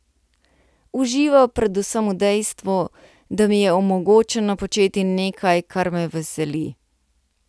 Užival predvsem v dejstvu, da mi je omogočeno početi nekaj, kar me veseli.